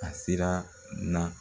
A sera n na.